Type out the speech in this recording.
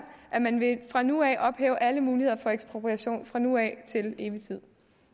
at man fra nu af vil ophæve alle muligheder for ekspropriation fra nu af til evig tid